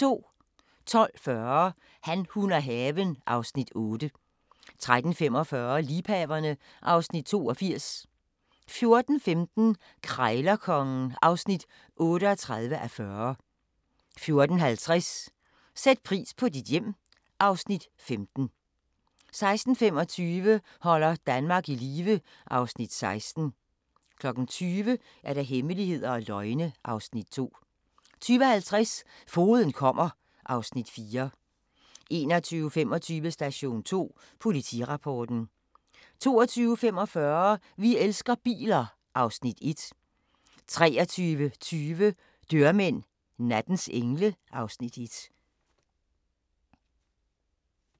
12:40: Han, hun og haven (Afs. 8) 13:45: Liebhaverne (Afs. 82) 14:15: Krejlerkongen (38:40) 14:50: Sæt pris på dit hjem (Afs. 15) 16:25: Holder Danmark i live (Afs. 16) 20:00: Hemmeligheder og løgne (Afs. 2) 20:50: Fogeden kommer (Afs. 4) 21:25: Station 2: Politirapporten 22:45: Vi elsker biler (Afs. 1) 23:20: Dørmænd – nattens engle (Afs. 1)